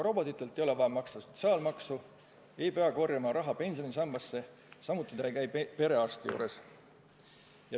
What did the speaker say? Robotite puhul ei ole vaja maksta sotsiaalmaksu, ei pea korjama raha pensionisambasse, samuti nad ei käi perearsti juures.